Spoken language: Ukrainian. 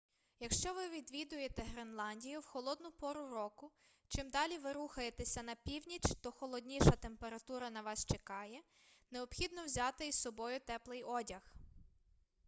якщо ви відвідуєте гренландію в холодну пору року чим далі ви рухаєтеся на північ то холодніша температура на вас чекає необхідно взяти із собою теплий одяг